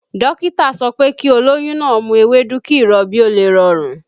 Dókítà sọ pé kí olóyún náà ń mu ewédú kí ìrọbí ó lè rọrùn